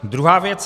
Druhá věc.